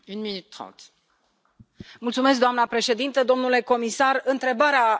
Doamna președintă, domnule comisar, întrebarea adresată Comisiei este pertinentă.